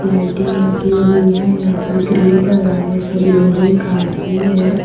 Lighting लगी हुई है यहां पे ग्रिल लगा है सब लोहे का ही है।